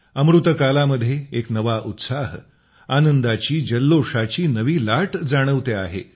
अमृतकालामध्ये एक नवा उत्साह आनंदाची जल्लोषाची नवी लाट जाणवते आहे